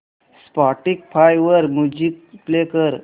Spotify वर music play कर